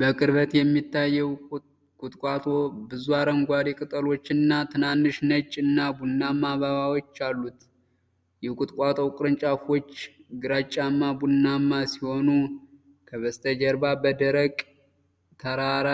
በቅርበት የሚታየው ቁጥቋጦ ብዙ አረንጓዴ ቅጠሎችና ትናንሽ ነጭ እና ቡናማ አበቦች አሉት። የቁጥቋጦው ቅርንጫፎች ግራጫማ ቡናማ ሲሆኑ፣ ከበስተጀርባ በደረቅ ተራራ